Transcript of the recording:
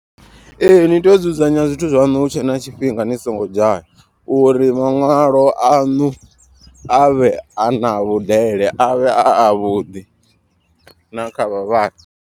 Ee ni tea u dzudzanya zwithu zwaṋu hu tshe na tshifhinga ni songo dzhaya. Uri maṅwalo aṋu a vhe a na vhudele avhe a avhuḓi na kha vhavhali.